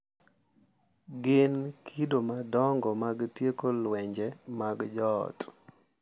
Gin kido madongo mag tieko lwenje mag joot.